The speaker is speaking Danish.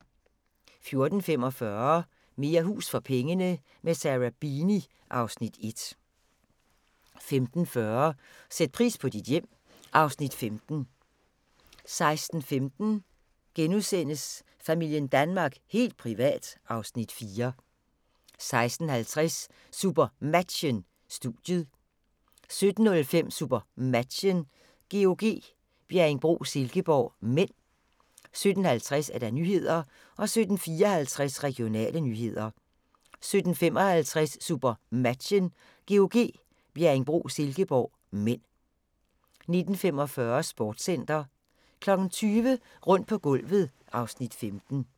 14:45: Mere hus for pengene – med Sarah Beeny (Afs. 1) 15:40: Sæt pris på dit hjem (Afs. 15) 16:15: Familien Danmark – helt privat (Afs. 4)* 16:50: SuperMatchen: Studiet 17:05: SuperMatchen: GOG - Bjerringbro-Silkeborg (m) 17:50: Nyhederne 17:54: Regionale nyheder 17:55: SuperMatchen: GOG - Bjerringbro-Silkeborg (m) 19:45: Sportscenter 20:00: Rundt på gulvet (Afs. 15)